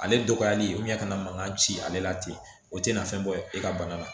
Ale dɔgɔyali ka na mankan ci ale la ten o tɛna fɛn bɔ e ka bana na